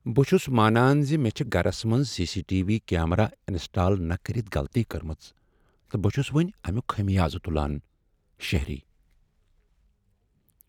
بہٕ چھس مانان ز مےٚ چھےٚ گرس منٛز C C T V camera install نہٕ کٔرتھ غلطی کٔرمٕژ تہٕ بہٕ چھس وۄنۍ امیک خمیازٕہ تُلان ،شہری